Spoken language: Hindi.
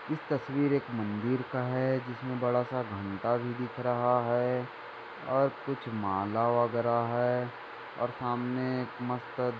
इस तस्वीर एक मंदिर का हैं जिसमे एक बड़ा सा घंटा भी दिख रहा हैं और कुछ माला वगैरा हैं और सामने एक मस्त--